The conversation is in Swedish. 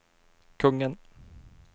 kungen